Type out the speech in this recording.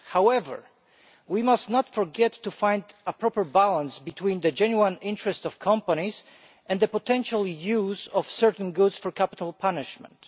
However, we must not forget to find a proper balance between the genuine interests of companies and the potential use of certain goods for capital punishment.